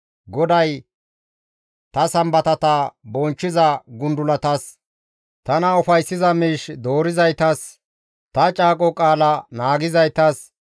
GODAY, «Ta Sambatata bonchchiza gundulatas, tana ufayssiza miish doorizaytas, ta caaqo qaala naagizaytas,